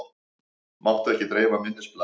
Mátti ekki dreifa minnisblaðinu